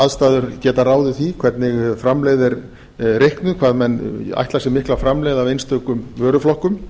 aðstæður geta ráðið því hvernig framleiðni er reiknuð hvað menn ætla sér mikla framleiðni af einstökum vöruflokkum